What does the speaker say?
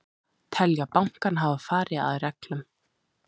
Telja bankann hafa farið að reglum